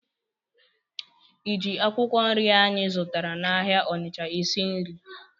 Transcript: Ị ji akwụkwọ nri anyị zụtara n'ahịa Onịcha esi nri?